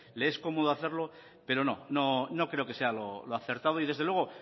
le es cómodo hacerlo pero no no creo que sea lo acertado y desde luego